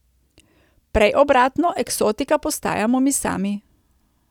Prej obratno, eksotika postajamo mi sami.